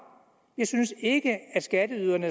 vi synes ikke at skatteyderne